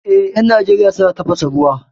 Eh, 'yan Najeriya suna tafasa ruwa